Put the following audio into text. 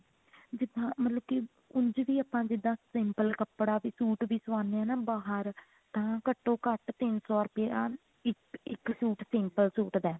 ਜਿੱਦਾਂ ਮਤਲਬ ਕਿ ਉਂਝ ਵੀ ਆਪਾਂ ਜਿੱਦਾਂ simple ਕੱਪੜਾ ਵੀ suit ਵੀ ਸਵਾਉਂਦੇ ਹਾਂ ਨਾ ਬਾਹਰ ਤਾਂ ਘੱਟੋ ਘੱਟ ਤਿੰਨ ਸੋ ਰੁਪਿਆ ਇੱਕ suit simple suit ਦਾ ਹੈ